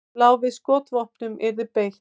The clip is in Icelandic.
Lá við að skotvopnum yrði beitt